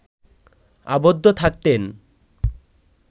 আবদ্ধ থাকতেন